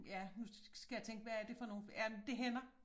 Ja nu skal jeg tænke hvad er det for nogle ja men det hænder